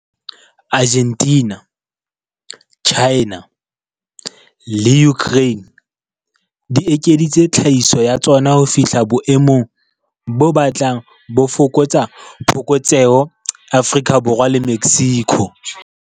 Argentina, China le Ukraine di ekeditse tlhahiso ya tsona ho fihla boemong bo batlang bo fokotsa phokotseho Afrika Borwa le Mexico.